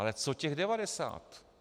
Ale co těch devadesát?